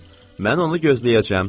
Mən onu gözləyəcəm.